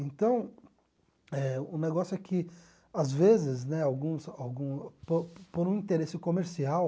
Então eh, o negócio é que, às vezes né algum algum por, por um interesse comercial...